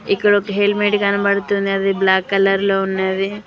ఇక్కడ ఒక హెల్మెట్ కనబడుతుంది అది బ్లాక్ కలర్ లో ఉన్నది.